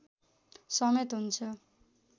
समेत हुन्छ